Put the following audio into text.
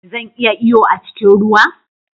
Zan iya iyo a cikin ruwa?